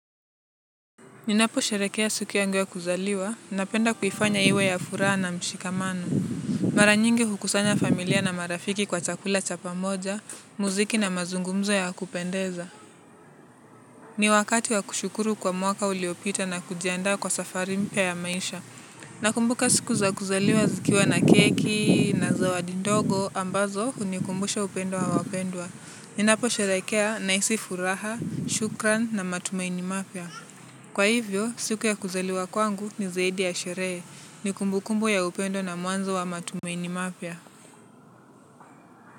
Ninaposherehekea siku yangu ya kuzaliwa napenda kuifanya iwe ya furaha na mshikamano. Mara nyingi hukusanya familia na marafiki kwa chakula cha pamoja, muziki na mazungumzo ya kupendeza. Ni wakati wa kushukuru kwa mwaka uliopita na kujiandaa kwa safari mpya ya maisha. Nakumbuka siku za kuzaliwa zikiwa na keki na zawadi ndogo ambazo hunikumbusha upendo wa wapendwa. Ninaposherehekea nahisi furaha, shukran na matumaini mapya. Kwa hivyo, siku ya kuzaliwa kwangu ni zaidi ya sherehe, ni kumbukumbu ya upendo na mwanzo wa matumaini mapya.